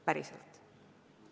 Päriselt.